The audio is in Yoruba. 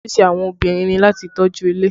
Ojúṣe àwọn obìnrin ni láti tọ́jú ilé